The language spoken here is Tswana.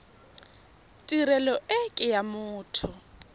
tirelo e ke ya motho